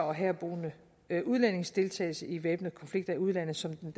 og herboende udlændinges deltagelse i væbnede konflikter i udlandet som den